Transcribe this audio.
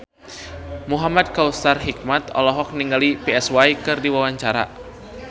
Muhamad Kautsar Hikmat olohok ningali Psy keur diwawancara